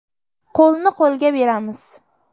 Qo‘lni qo‘lga beramiz!.